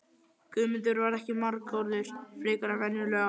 Guðmundur var ekki margorður frekar en venjulega.